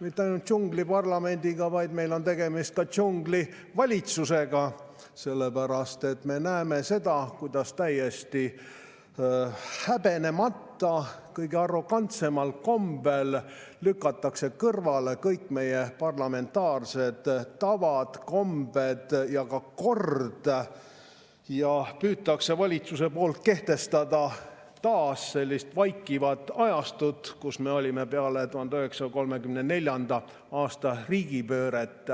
mitte ainult džungliparlamendiga, vaid meil on tegemist ka džunglivalitsusega, sest me näeme seda, kuidas täiesti häbenemata, kõige arrogantsemal kombel lükatakse kõrvale kõik meie parlamentaarsed tavad, kombed ja kord ning valitsus püüab taas kehtestada sellist vaikivat ajastut, nagu meil oli peale 1934. aasta riigipööret.